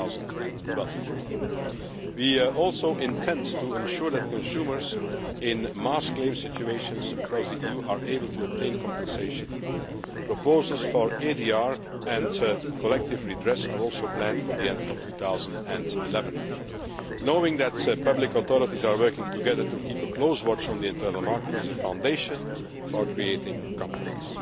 2012. We also intend to ensure that consumers in mass claim situations across the EU are able to obtain compensation. Proposals for ADR and collective redress are also planned for the end of 2011. Knowing that public authorities are working together to keep a close watch on the internal market is a foundation for creating confidence.